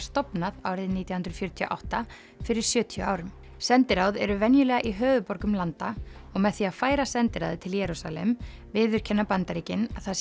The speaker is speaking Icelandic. stofnað árið nítján hundruð fjörutíu og átta fyrir sjötíu árum sendiráð eru venjulega í höfuðborgum landa og með því að færa sendiráðið til Jerúsalem viðurkenna Bandaríkin að það